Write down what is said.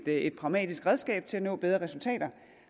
et pragmatisk redskab til at nå bedre resultater